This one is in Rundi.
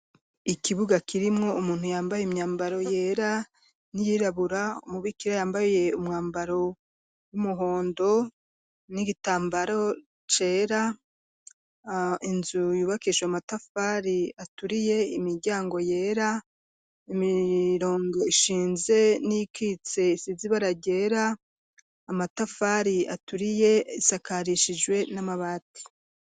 ikibuga kirimo umuntu yambaye imyambaro yera n'iyirabura umubikira yambaye umwambaro w'umuhondo n'igitambaro cera inzu yubakesha amatafari aturiye imiryango yera imirongo ishinze n'ikitse isizibara gera amatafari aturiye isakarishijwe n'amabati